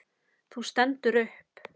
Þú stendur upp.